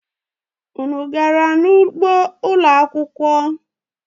Unu gara n'ugbo ụlo akwụkwọ?